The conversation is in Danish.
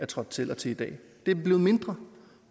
trådte til og til i dag det er blevet mindre